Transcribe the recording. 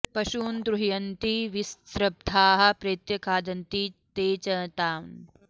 पशून् द्रुह्यन्ति विस्रब्धाः प्रेत्य खादन्ति ते च तान्